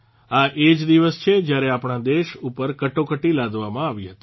આ એ જ દિવસ છે જયારે આપણા દેશ ઉપર કટોકટી લાદવામાં આવી હતી